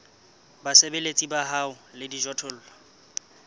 basebeletsi ba hao le dijothollo